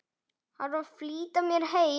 Þarf að flýta mér heim.